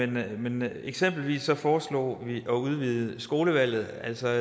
dem eksempelvis foreslog vi at udvide skolevalget altså